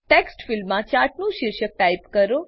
text ફીલ્ડમાં ચાર્ટનું શીર્ષક ટાઈપ કરો